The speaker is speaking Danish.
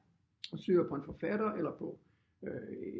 Og søger på en forfatter eller på øh